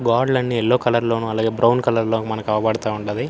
గోడలన్నీ yellow colour లోనూ అలగే brown colour లోను మనకు అగుపడతా ఉండది.